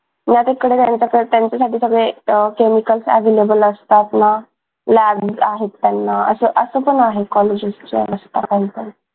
त्यांच्यासाठी सगळे अह chemical available असतात ना ना labs आहेत त्यांना असं असं पण आहे कॉलेज scholarship च्या असत त्यांच